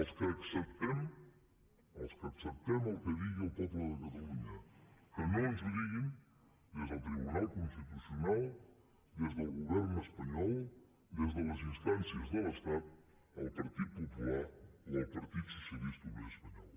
els que acceptem el que digui el poble de catalunya que no ens ho diguin des del tribunal constitucional des del govern espanyol des de les instàncies de l’estat el partit popular o el partit socialista obrer espanyol